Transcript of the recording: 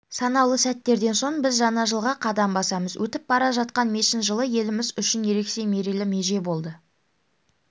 санаулы сәттерден соң біз жаңа жылға қадам басамыз өтіп бара жатқан мешін жылы еліміз үшін ерекше мерейлі меже болды